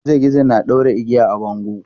Gizo gizo na ɗaure igiya a bango.